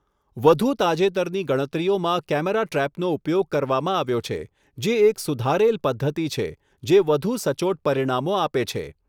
વધુ તાજેતરની ગણતરીઓમાં કૅમેરા ટ્રેપનો ઉપયોગ કરવામાં આવ્યો છે, જે એક સુધારેલ પદ્ધતિ છે જે વધુ સચોટ પરિણામો આપે છે.